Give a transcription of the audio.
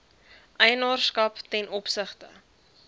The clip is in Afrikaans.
eienaarskap ten opsigte